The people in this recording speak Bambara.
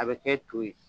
A bɛ kɛ to ye